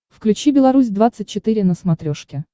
включи беларусь двадцать четыре на смотрешке